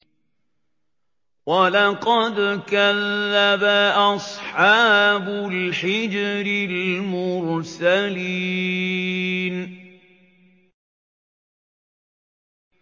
وَلَقَدْ كَذَّبَ أَصْحَابُ الْحِجْرِ الْمُرْسَلِينَ